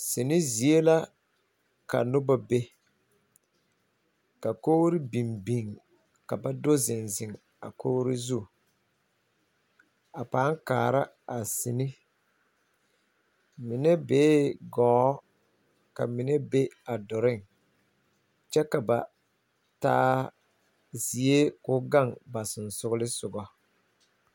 Noba la ziŋ kaara sini. Kogro biŋee la ka noba ziŋ a zu kyɛ kaara a sini..A noba mine ziŋ la gɔɔ kyɛ ka ba mine meŋ ziŋ a dɔroŋ siŋ kyɛ ka foɔlaa gaŋ ba kpakyaga pʋɔ